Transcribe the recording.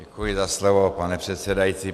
Děkuji za slovo, pane předsedající.